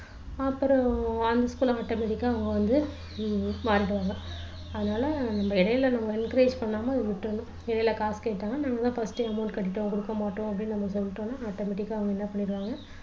அப்புறம் automatic ஆ அவங்க வந்து மாறிடுவாங்க அதுனால நம்ம இடையில நம்ம encourage பண்ணாம விட்டுடனும் இடையில காசு கேட்டாங்கன்னா நாங்க தான் first amount கட்டிட்டோம் கொடுக்க மாட்டோம் அப்படின்னு நம்ம சொல்லிட்டோம்னா automatic ஆ அவங்க என்ன சொல்லிடுவாங்க